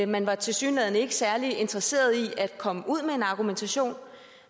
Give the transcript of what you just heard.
man var tilsyneladende ikke særlig interesseret i at komme ud med en argumentation